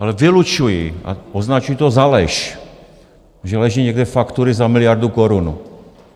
Ale vylučuji a označuji to za lež, že leží někde faktury za miliardu korun.